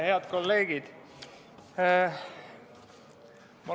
Head kolleegid!